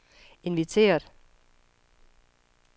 inviteret